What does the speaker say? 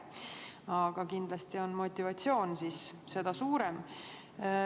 Aga kindlasti on motivatsioon seda suurem.